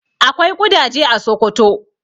Akwai ƙudaje a Sokoto.